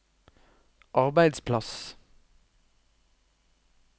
arbeidsplass